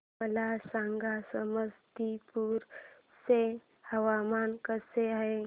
मला सांगा समस्तीपुर चे हवामान कसे आहे